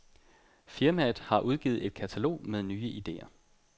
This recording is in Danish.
Firmaet har udgivet et katalog med nye ideer.